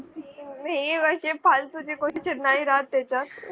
अशे फालतूचे question नाही राहत त्याच्यात